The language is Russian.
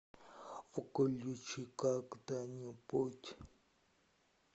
включи когда нибудь